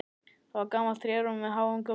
Það var gamalt trérúm með háum göflum.